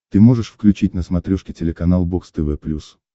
ты можешь включить на смотрешке телеканал бокс тв плюс